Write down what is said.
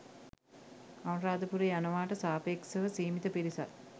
අනුරාධපුරේ යනවාට සාපේක්ෂව සීමිත පිරිසක්.